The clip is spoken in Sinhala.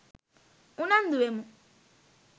උනන්දු වෙමු.